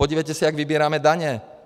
Podívejte se, jak vybíráme daně.